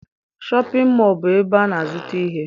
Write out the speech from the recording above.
Shọpịn mọọ bụ ebe a na-azụta ihe.